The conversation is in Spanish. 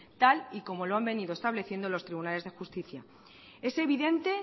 tal y como lo han venido estableciendo los tribunales de justicia es evidente